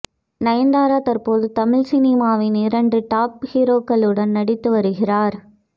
நயன்தாரா தற்போது தமிழ் சினிமாவின் இரண்டு டாப் ஹீரோக்களுடன் நடித்து வருகிறார்